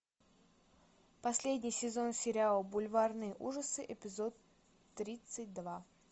последний сезон сериал бульварные ужасы эпизод тридцать два